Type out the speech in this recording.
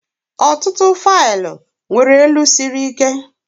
Ọtụtụ faịlụ nwere elu siri ike.